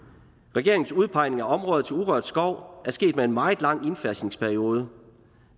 regeringens udpegning af områder til urørt skov er sket med en meget lang indfasningsperiode